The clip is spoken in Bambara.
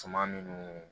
Suman minnu